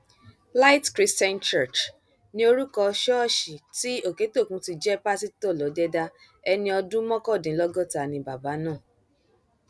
light christian church ni orúkọ ṣọọṣì tí òkẹtókùn ti jẹ pásítọ lọdẹdà ẹni ọdún mọkàndínlọgọta ni bàbá náà